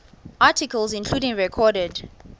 articles including recorded